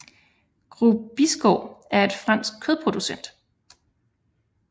Groupe Bigard er en fransk kødproducent